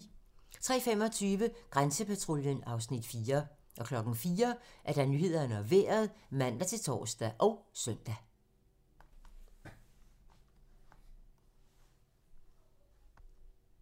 03:25: Grænsepatruljen (Afs. 4) 04:00: Nyhederne og Vejret (man-tor og søn)